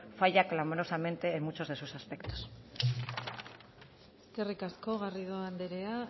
falla clamorosamente en muchos de sus aspectos eskerrik asko garrido anderea